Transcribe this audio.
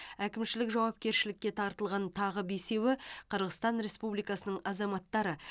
әкімшілік жауапкершілікке тартылған тағы бесеуі қырғызстан республикасының азаматтары